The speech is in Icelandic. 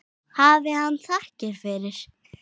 Hafi hann þakkir fyrir.